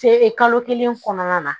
kalo kelen kɔnɔna na